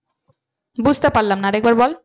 বুঝতে পারলাম না আর একবার বল।